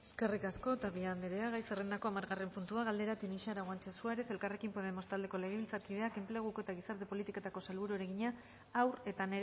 eskerrik asko tapia andrea gai zerrendako hamargarren puntua galdera tinixara guanche suárez elkarrekin podemos taldeko legebiltzarkideak enpleguko eta gizarte politiketako sailburuari egina haur eta